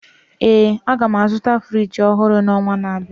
ee, a ga m azụta Friji ọhụrụ n'ọnwa na-abịa